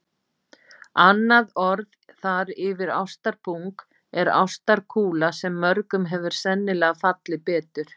Annað orð þar yfir ástarpung er ástarkúla sem mörgum hefur sennilega fallið betur.